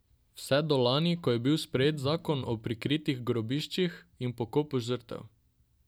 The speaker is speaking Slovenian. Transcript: Vse do lani, ko je bil sprejet zakon o prikritih grobiščih in pokopu žrtev.